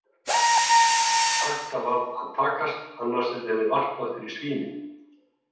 Þetta varð að takast annars yrði henni varpað fyrir svínin.